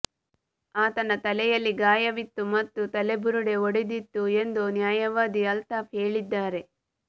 ಆತನ ತಲೆಯಲ್ಲಿ ಗಾಯವಿತ್ತು ಮತ್ತು ತಲೆಬುರುಡೆ ಒಡೆದಿತ್ತು ಎಂದು ನ್ಯಾಯವಾದಿ ಅಲ್ತಾಫ್ ಹೇಳಿದ್ದಾರೆ